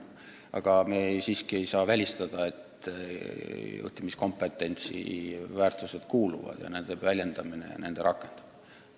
Samas me siiski ei saa välistada, et juhtimiskompententsi hulka kuuluvad ka väärtushinnangud ja nende väljendamine ja nendest lähtumine.